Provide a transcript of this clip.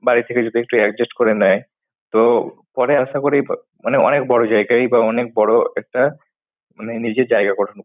বাড়ি থেকে যদি একটু adjust করে নেয় তো পরে আশা করি মানে অনেক বড় জায়গায় বা অনেক বড় একটা মানে নিজের জায়গা করে